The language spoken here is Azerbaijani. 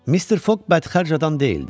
Mister Foq bədxərc adam deyildi.